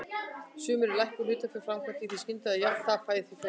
Stundum er lækkun hlutafjár framkvæmd í því skyni að jafna tap í félaginu.